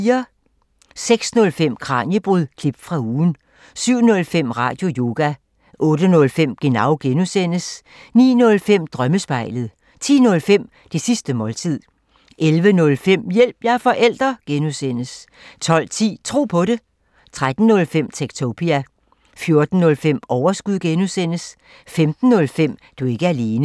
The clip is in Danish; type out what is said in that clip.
06:05: Kraniebrud – klip fra ugen 07:05: Radioyoga 08:05: Genau (G) 09:05: Drømmespejlet 10:05: Det sidste måltid 11:05: Hjælp – jeg er forælder! (G) 12:10: Tro på det 13:05: Techtopia 14:05: Overskud (G) 15:05: Du er ikke alene